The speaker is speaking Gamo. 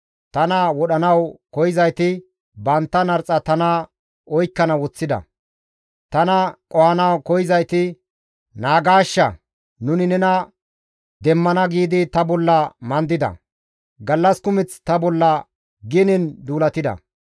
Tana wodhanawu koyzayti bantta narxa tana oykkana woththida; Tana qohanawu koyzayti, «Naagaashsha; nuni nena demmana» giidi ta bolla mandida; gallas kumeth ta bolla genen duulatida.